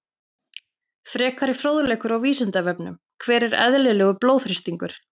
Frekari fróðleikur á Vísindavefnum: Hver er eðlilegur blóðþrýstingur?